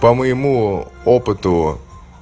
по-моему опыту